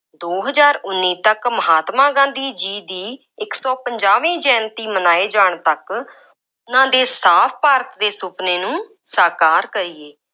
ਦੋ ਹਜ਼ਾਰ ਉੱਨੀ ਤੱਕ ਮਹਾਤਮਾ ਗਾਂਧੀ ਜੀ ਦੀ ਇੱਕ ਸੌ ਪੰਜਾਹਵੀਂ ਜੈਯੰਤੀ ਮਨਾਏ ਜਾਣ ਤੱਕ, ਉਹਨਾ ਦੇ ਸਾਫ ਭਾਰਤ ਦੇ ਸੁਪਨੇ ਨੂੰ ਸਾਕਾਰ ਕਰੀਏ।